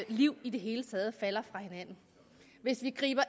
liv i det hele taget falder fra hinanden hvis vi griber